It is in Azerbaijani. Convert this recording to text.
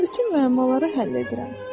Mən bütün müəmmaları həll edirəm.